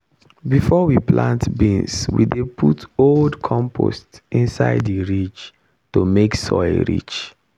before we plant beans we dey put old compost inside the ridge to make soil rich.